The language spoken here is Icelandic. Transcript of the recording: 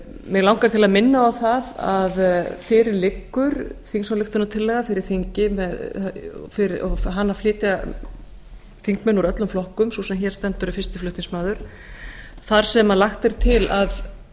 mig langar til að minna á að fyrir þinginu liggur þingsályktunartillaga þar sem flutningsmenn eru þingmenn úr öllum flokkum en sú sem hér stendur er fyrsti flutningsmaður hennar þar er lagt til að